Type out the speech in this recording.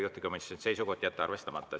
Juhtivkomisjoni seisukoht on jätta arvestamata.